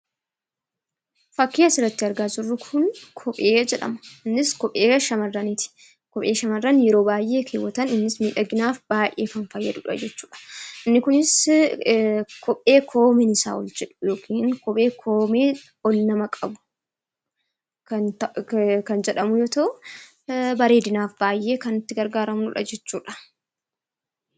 Fakkii asirratti argaa jirru kun kophee jedhama. Kopheen kunis kophee sharraniiti. Kophee shamarran yeroo baay'ee keewwatan kunis miidhaginaaf baay'eee kan fayyadudha. Kopheen kunis kophee koomeen isaa ol jedhaa yookiin kophee koomeen ol nama qabudha.